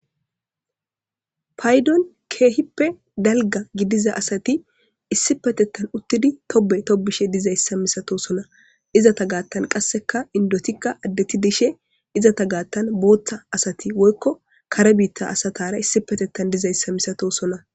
Paydon keehippe dalga gidiza asati issi petettan uttidi tobe tobishe dizayssa misato sona izata gaattan qasseka indotikka addeti dishe izata gaattan booththa asati woykko kare biitta asatara issi petettan dizayssa misato sona.